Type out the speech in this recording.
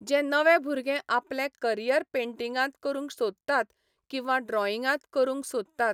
जे नवे भुरगे आपलें करीयर पेंटिगांत करूंक सोदतात किंवां ड्रॉईंगांत करूंक सोदतात